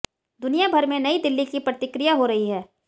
दुनिया भर में नई दिल्ली की प्रतिक्रिया हो रही है